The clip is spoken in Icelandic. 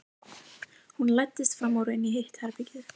Hún læddist fram úr og inn í hitt herbergið.